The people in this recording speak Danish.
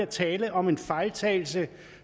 tale om en fejltagelse